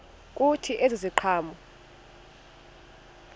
kuthi ezi ziqhamo